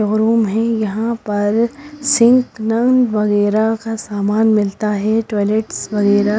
showroom है यहाँ पर सिंक नल वगैरह का सामान मिलता है टॉयलेट्स वगैरह--